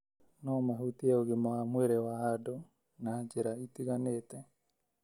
no mahutie ũgima wa mwĩrĩ wa andũ na njĩra itiganĩte